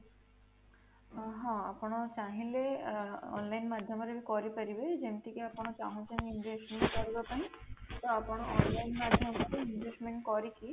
ହଁ, ଆପଣ ଚାହିଁଲେ ଆଁ online ମାଧ୍ୟମରେ ବି କରିପାରିବେ ଯେମିତିକି ଆପଣ ଚାହୁଁଛନ୍ତି investment କରିବା ପାଇଁ ତ ଆପଣ online ମାଧ୍ୟମରେ investment କରିକି